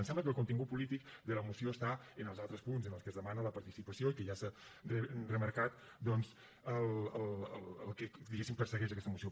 ens sembla que el contingut polític de la moció està en els altres punts en el que es demana la participació i que ja s’ha remarcat doncs el que diguéssim persegueix aquesta moció